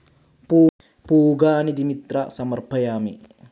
പൂഗാനി തെ മിത്ര സമർപ്പയാമി.